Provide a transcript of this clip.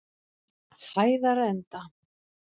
Hæðarenda